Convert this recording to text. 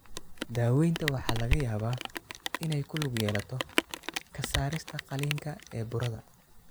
Daawaynta waxaa laga yaabaa inay ku lug yeelato ka saarista qaliinka ee burada.